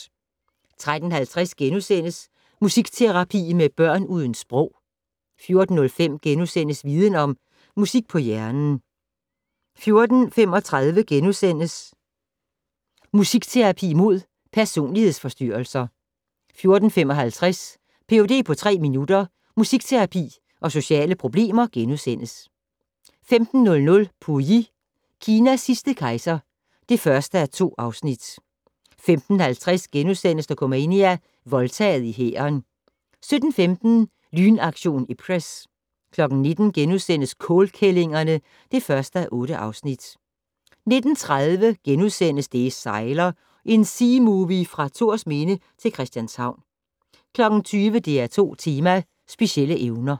13:50: Musikterapi med børn uden sprog * 14:05: Viden Om - Musik på hjernen * 14:35: Musikterapi mod personlighedsforstyrrelser * 14:55: Ph.d. på tre minutter - musikterapi og sociale problemer * 15:00: Pu Yi - Kinas sidste kejser (1:2) 15:50: Dokumania: Voldtaget i hæren * 17:15: Lynaktion Ipcress 19:00: Kålkællingerne (1:8)* 19:30: Det sejler - en seamovie fra Thorsminde til Christianshavn * 20:00: DR2 Tema: Specielle evner